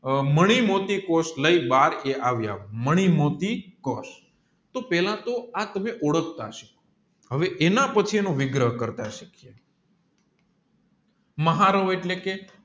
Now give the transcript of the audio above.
આ મણિ મોટી કોશ લાયી એ બાર આવ્યા મણિ મોટી કોષ તોહ પેલા તોહ આ તમે ઓળખતા હશો હવે એના પેજી એનો વિગ્રહ કરતા સિખિયે મહારાવો એટલે કે